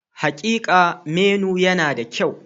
Hakika, menu yana da kyau.